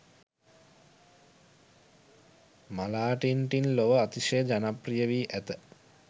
මාලාටින් ටින් ලොව අතිශය ජනප්‍රිය වී ඇත.